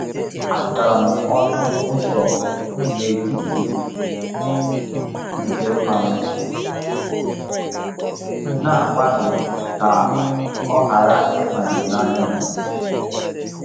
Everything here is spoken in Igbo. Azara m ọnụ ụzọ n’etiti ite mmanụ, na-agbalị ka ọ ghara ịbanye n’anya m."